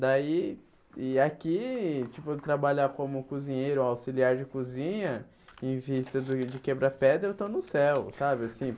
Daí, e aqui, tipo trabalhar como cozinheiro, auxiliar de cozinha, em vista do de quebrar pedra, eu estou no céu, sabe assim?